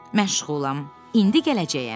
Məşğulam, indi gələcəyəm.